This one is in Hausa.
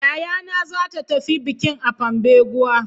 Yayana za ta tafi bikin a Pambeguwa.